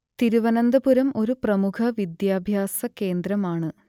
തിരുവനന്തപുരം ഒരു പ്രമുഖ വിദ്യാഭ്യാസ കേന്ദ്രമാണ്